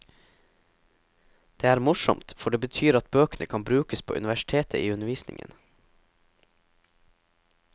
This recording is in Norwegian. Det er morsomt, for det betyr at bøkene kan brukes på universitetet i undervisningen.